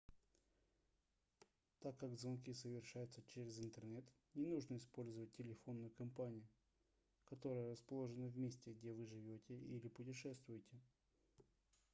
так как звонки совершаются через интернет не нужно использовать телефонную компанию которая расположена в месте где вы живете или путешествуете